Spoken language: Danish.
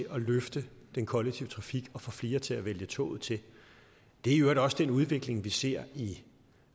at løfte den kollektive trafik og få flere til at vælge toget til det er i øvrigt også den udvikling vi ser i